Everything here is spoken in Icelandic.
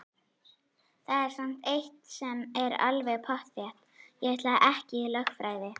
Það er samt eitt sem er alveg pottþétt: Ég ætla ekki í lögfræði!